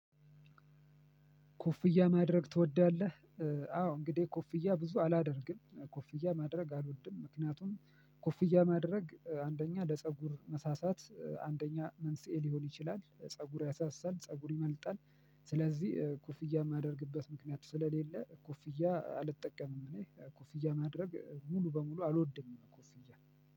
ኮፍያ ማድረግ ትወዳለህ? አዎ እንግዲህ ኮፍያ ብዙ አላደርግም። ኮፍያ ማድረግ አሎድም ምክንያቱም ኮፍያ ማድረግ አንደኛ ለፀጉር መሳሳት አንደኛ መንስኤ ሊሆን ይችላል ፀጉር ያሳሳል ፀጉር ይመልጣል። ስለዚህ ኩፍያ የማደርግበት ምክንያት ስለሌለ ኩፍያ አልጠቀምም። እኔ ኮፍያ ማድረግ ሙሉ በሙሉ አልወድም ኮፍያ።